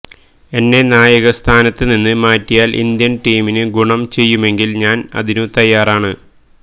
എന്നെ നായകസ്ഥാനത്ത് നിന്ന് മാറ്റിയാല് ഇന്ത്യന് ടീമിനു ഗുണം ചെയ്യുമെങ്കില് ഞാന് അതിന് തയ്യാറാണ്